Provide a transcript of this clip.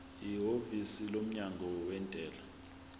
ihhovisi lomnyango wezentela